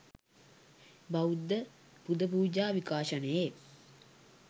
බෞද්ධ පුදපූජා විකාශනයේ